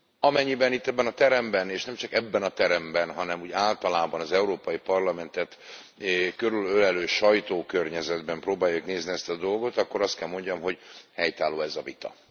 Amennyiben itt, ebben a teremben és nem csak itt ebben a teremben, hanem úgy általában az Európai Parlamentet körülölelő sajtókörnyezetben próbáljuk nézni ezt a dolgot, akkor azt kell mondjam, hogy helytálló ez a vita.